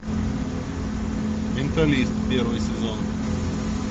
менталист первый сезон